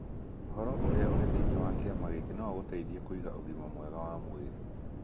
Ũhoro ũrĩa ũrĩ thĩinĩ wa kĩama gĩki no ũgũteithie kũgĩa na ũgima mwega wa mwĩrĩ.